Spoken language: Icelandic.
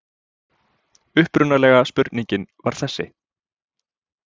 Upprunalega spurningin var þessi: